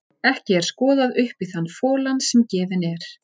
Ekki er skoðað upp í þann folann sem gefinn er.